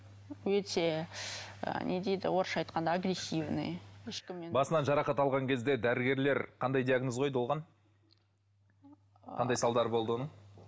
өте ы не дейді орысша айтқанда агрессивный басынан жарақат алған кезде дәрігерлер қандай диагноз қойды оған қандай салдары болды оның